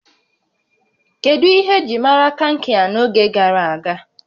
Kedu ihe eji maara Kankia n'oge gara aga?